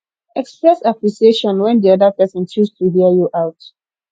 express appreciation when di oda person choose to hear you out